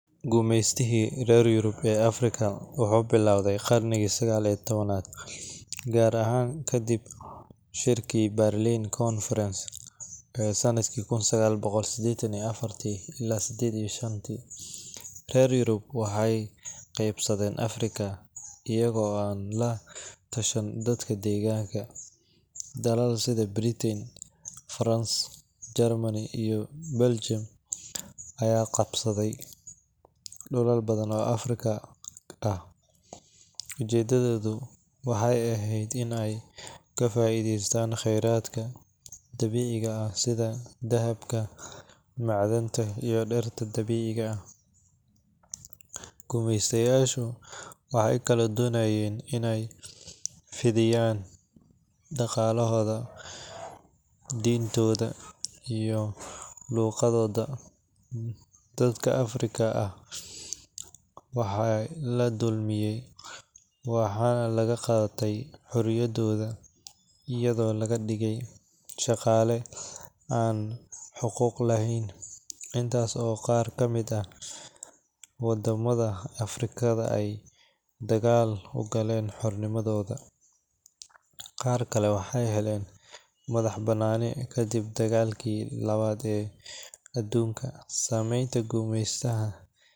Gumeystihii reer Yurub ee Afrika wuxuu bilowday qarnigii sagaal iyo tawanaad , gaar ahaan kadib shirkii Berlin Conference ee sanadkii kun sagal boqol seddetan iyo affatii ilaa seddetan iyo shantii. Reer Yurub waxay qaybsadeen Afrika iyaga oo aan la tashan dadka degaanka. Dalal sida Britain, France, Germany, iyo Belgium ayaa qabsaday dhulal badan oo Afrika ah. Ujeeddadoodu waxay ahayd in ay ka faa’iidaystaan khayraadka dabiiciga ah sida dahabka, macdanta, iyo dhirta dabiiciga ah. Gumeysteyaashu waxay kaloo doonayeen inay fidiyaan dhaqankooda, diintooda, iyo luqaddooda. Dadka Afrikaan ah waxaa la dulmiyay, waxaana laga qaatay xoriyadooda, iyadoo laga dhigay shaqaale aan xuquuq lahayn. Inkasta oo qaar ka mid ah waddamada Afrikada ay dagaal u galeen xornimadooda, qaar kale waxay heleen madax-bannaani kadib dagaalkii labaad ee aduunka. Saameynta gumeystaha.